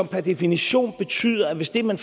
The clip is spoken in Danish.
per definition betyder at hvis det man